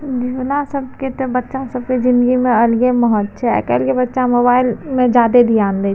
हमरा सब के ते बच्चा सब के ज़िन्दगी में अलगे महत्व छै आय कएल के बच्चा मोबाइल में ज्यादे ध्यान दे छे --